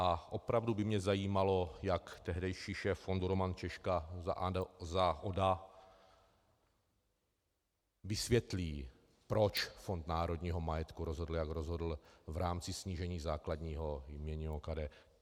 A opravdu by mě zajímalo, jak tehdejší šéf fondu Roman Češka za ODA vysvětlí, proč Fond národního majetku rozhodl, jak rozhodl v rámci snížení základního jmění OKD.